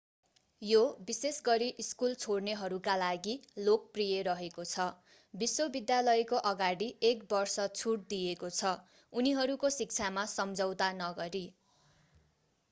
यो विशेषगरी स्कूल छोड्नेहरूका लागि लोकप्रिय रहेको छ विश्वविद्यालयको अगाडि एक वर्ष छुट दिएको छ उनीहरूको शिक्षामा सम्झौता नगरी